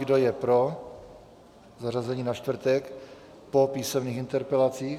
Kdo je pro zařazení na čtvrtek po písemných interpelacích?